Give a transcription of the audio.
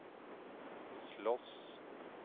slåss